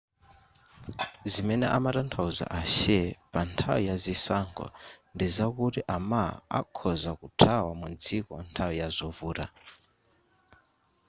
zimene amatanthauza ahsieh panthawi ya zisankho ndizakuti a ma akhoza kuthawa mu dziko nthawi ya zovuta